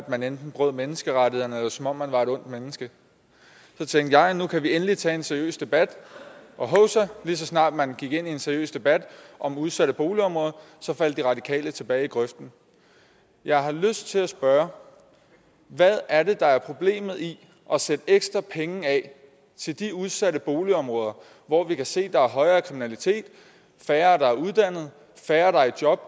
man enten brød menneskerettighederne eller som om man var et ondt menneske så tænkte jeg at nu kan vi endelig tage en seriøs debat og hovsa lige så snart man gik ind i en seriøs debat om udsatte boligområder faldt de radikale tilbage i grøften jeg har lyst til at spørge hvad er det der er problemet i at sætte ekstra penge af til de udsatte boligområder hvor vi kan se at der er højere kriminalitet færre der er uddannet færre der er i job